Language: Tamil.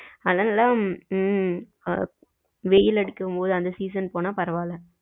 அதுயெல்லாம் ஆ ஹம் வெயில் அடிக்கும் போது அந்த season போன பரவாயில்ல